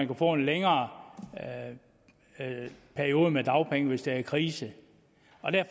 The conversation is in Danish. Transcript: kan få en længere periode med dagpenge hvis der er krise